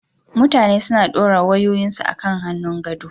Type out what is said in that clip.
Mutane suna dora wayoyinsu a kan hannun gado.